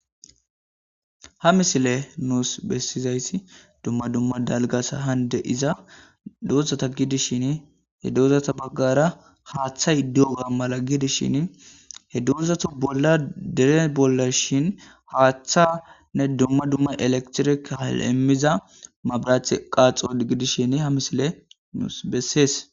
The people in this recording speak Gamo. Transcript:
Ha misile nuus bessizayssi dumma dumma dalgasa hande iza doozata gidishin he doozata baggara haaththay doga mala gidishin he doozata bolla dine bolla shin haaththanne dumma dumma elektireal'emmiza mabraach qaaxo gidishin ha misile nuus bessees